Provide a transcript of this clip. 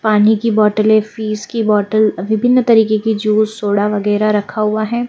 पानी की बॉटलें फीज की बॉटल विभिन्न तरीके की ज्यूस सोडा वगैरह रखा हुआ है।